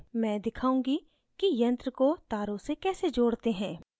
मैं दिखाऊँगी कि यंत्र को तारों से कैसे जोड़ते हैं